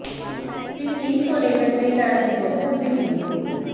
इस सीन को लेकर कई तरह की गॉशिप भी हुई थी